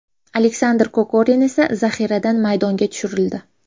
Aleksandr Kokorin esa zaxiradan maydonga tushirildi.